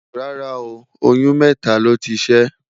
rárá o, oyún mẹta ló tí ṣé